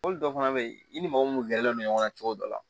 Mɔbili dɔw fana be ye i ni mɔgɔ mun gɛrɛlen don ɲɔgɔn na cogo dɔ la